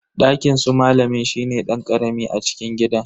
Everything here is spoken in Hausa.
Dakinsu malam shine dan karami a cikin gidan.